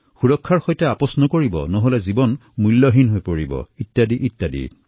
সুৰক্ষাৰ সৈতে নকৰিব একো ধেমালি নহলে জীৱন হব সস্তীয়া